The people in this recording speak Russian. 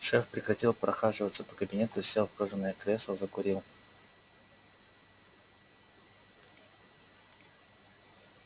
шеф прекратил прохаживаться по кабинету сел в кожаное кресло закурил